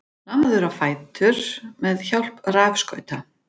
Lamaður á fætur með hjálp rafskauta